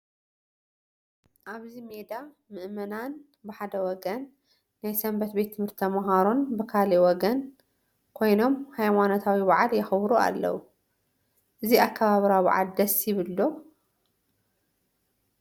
ኣብዚ ሜዳ ምእመናን ብሓደ ወገን ናይ ሰንበት ቤት ትምህርቲ ተመሃሮን ብኻልእ ወገን ኮይኖም ሃይማኖታዊ በዓል የኽብሩ ኣለዉ፡፡ እዚ ኣከባብራ በዓል ደስ ይብል ዶ?